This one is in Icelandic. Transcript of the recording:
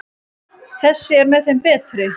Þessi er með þeim betri.